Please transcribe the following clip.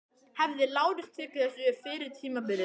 Hefði Lárus tekið þessu fyrir tímabilið?